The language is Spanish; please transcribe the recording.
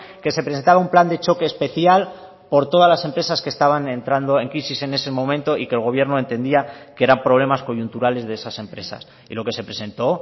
que se presentaba un plan de choque especial por todas las empresas que estaban entrando en crisis en ese momento y que el gobierno entendía que eran problemas coyunturales de esas empresas y lo que se presentó